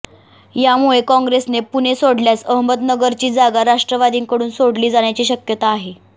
यामुळे काँग्रेसने पुणे सोडल्यास अहमदनगरची जागा राष्ट्रवादीकडून सोडली जाण्याची शक्यता आहे